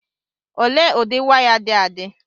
ole ụdị waya dị adị